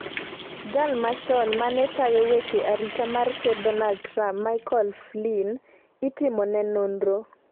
Jal machon mane tayo weche arita mar Ker Donald Trump Michael Flynn itimone nonro